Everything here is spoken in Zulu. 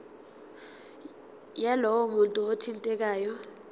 yalowo muntu othintekayo